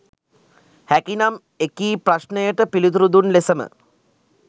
හැකි නම් එකී ප්‍රශ්නයට පිළිතුරු දුන් ලෙසම